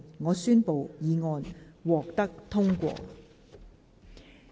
我宣布議案獲得通過。